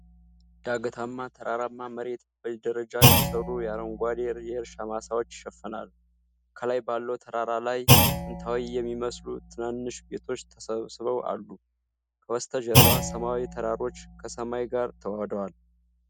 ዳገታማ ተራራማ መሬት በደረጃ የተሰሩ የአረንጓዴ የእርሻ ማሳዎች ይሸፍነዋል። ከላይ ባለው ተራራ ላይ ጥንታዊ የሚመስሉ ትናንሽ ቤቶች ተሰብስበው አሉ። ከበስተጀርባ ሰማያዊ ተራሮች ከሰማይ ጋር ተዋህደዋል።